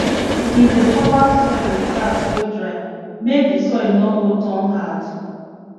he dey cover soil with grass wey dry make d soil no go turn hard